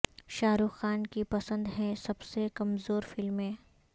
شاہ رخ خان کی پسند ہیں سب سے کمزور فلمیں